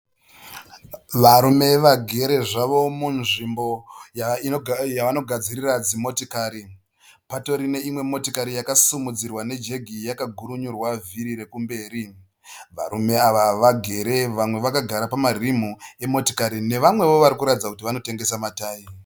Varume vagere zvavo munzvimbo yavanogadzirira dzimotikari, patori neimwe motikari yakasimudzirwa nejegi yakagurunyurwa vhiri rekumberi, varume ava vagere vamwe vakagara pamarimu emotikari nevamwewo vari kuratidza kuti vanotengesa matayi.